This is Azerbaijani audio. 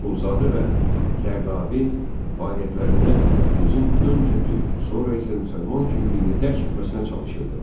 Axundzadə və Zərdabi fəaliyyətlərində millətimizin öncə türk, sonra isə müsəlman kimliyini dərk etməsinə çalışırdılar.